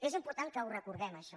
és important que ho recordem això